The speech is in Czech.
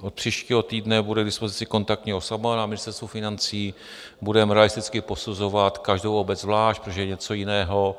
Od příštího týdne bude k dispozici kontaktní osoba na Ministerstvu financí, budeme realisticky posuzovat každou obec zvlášť, protože je něco jiného,